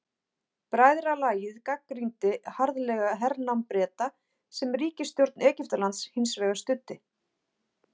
Bræðralagið gagnrýndi harðlega hernám Breta sem ríkisstjórn Egyptalands hins vegar studdi.